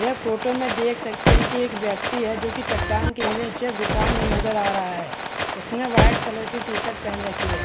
ये फोटो देख सकते है एक व्यक्ति है जो कि चट्टान के नीचे गुफा नज़र आ रहा है उसने व्हाइट कलर की टी-शर्ट पहन रखी है।